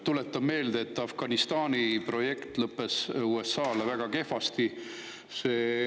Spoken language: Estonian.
Tuletan meelde, et Afganistani projekt lõppes USA-le väga kehvasti.